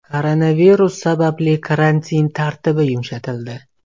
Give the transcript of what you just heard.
Koronavirus sababli karantin tartibi yumshatildi.